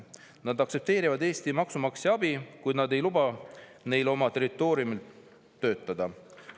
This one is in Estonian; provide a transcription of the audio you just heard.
Nad aktsepteerivad Eesti maksumaksja abi, kuid nad ei luba neil oma territooriumil töötada.